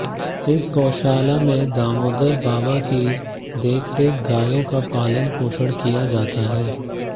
इस गौशाला में दामोदर बाबा की देखरेख गायों का पालन पोषण किया जाता है